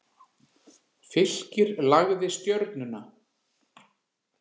Fylkir lagði Stjörnuna